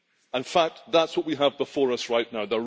In fact, that is what we have before us right now.